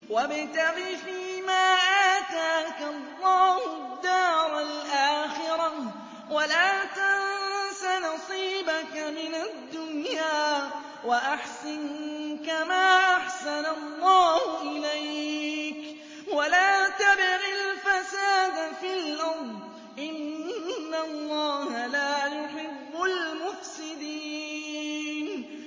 وَابْتَغِ فِيمَا آتَاكَ اللَّهُ الدَّارَ الْآخِرَةَ ۖ وَلَا تَنسَ نَصِيبَكَ مِنَ الدُّنْيَا ۖ وَأَحْسِن كَمَا أَحْسَنَ اللَّهُ إِلَيْكَ ۖ وَلَا تَبْغِ الْفَسَادَ فِي الْأَرْضِ ۖ إِنَّ اللَّهَ لَا يُحِبُّ الْمُفْسِدِينَ